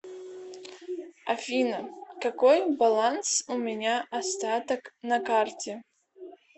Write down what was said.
афина какой баланс у меня остаток на карте